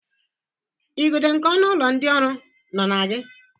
Igodo nke ọnụ ụlọ ndị ọrụ nọ na gị?